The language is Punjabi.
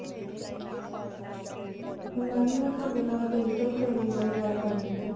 mam ਮੈਂ ਤੁਹਾਡੇ ਨਾਲ digital training ਬਾਰੇ ਗੱਲ ਕਰਨੀ ਸੀ